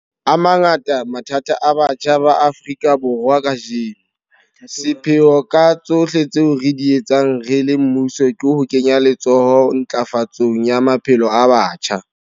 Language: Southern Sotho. A mangata mathata a batjha ba Afrika Borwa kajeno. Sepheo ka tsohle tseo re di etsang re le mmuso ke ho kenya letsoho ntlafatsong ya maphelo a batjha.